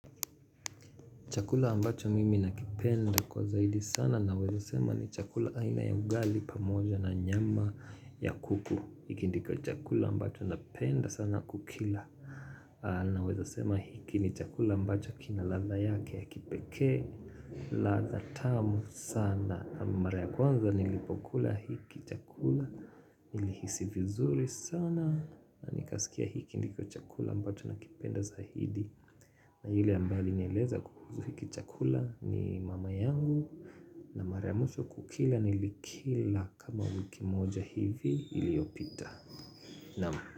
Chakula ambacho mimi nakipenda kwa zaidi sana naweza sema ni chakula aina ya ugali pamoja na nyama ya kuku. Hiki ndiko chakula ambacho napenda sana kukila aaaaa. Naweza sema hiki ni chakula ambacho kina ladha yake ya kipekee mh. Ladha tamu sana. Mara ya kwanza nilipokula hiki chakula. Nilihisi vizuri sanaa na Nikasikia hiki ndiko chakula ambacho nakipenda zaidi. Na yule ambaye alinieleza kukusu hiki chakula ni mama yanguu na mara ya mwisho kukila nilikila kama wiki moja hivi iliopita. Naam.